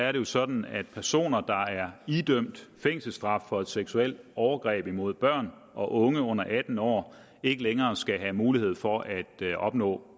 er det sådan at personer der er idømt fængselsstraf for et seksuelt overgreb mod børn og unge under atten år ikke længere skal have mulighed for at opnå